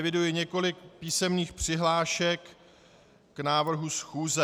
Eviduji několik písemných přihlášek k návrhu schůze.